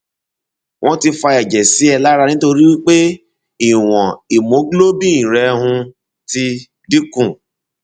wọn ti fa ẹjẹ sí ẹ lára nítorí pé ìwọn hemoglobin rẹ um ti dín kù